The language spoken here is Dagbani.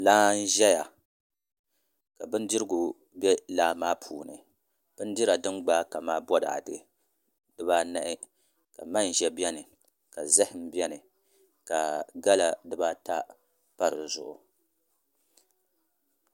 Laa n ʒɛya ka bindirigu bɛ laa maa puuni binfirdin gbaai kamani boraadɛ dibaanahi manʒa bɛni ka zaham bɛni ka gala dibaata pa di zuɣu